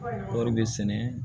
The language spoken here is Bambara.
Kɔri bɛ sɛnɛ